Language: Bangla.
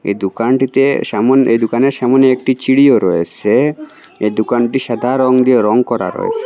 এই দোকানটিতে সামোন এই দোকানের সামোনে একটি চিরিও রয়েসে এই দোকানটি সাদা দিয়ে রং করা রয়েসে।